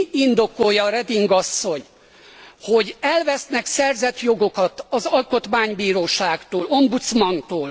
Mi indokolja Reding asszony, hogy elvesznek szerzett jogokat az alkotmánybíróságtól, ombudsmantól?